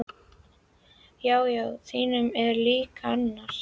Já, já, þínum, en líka annarra.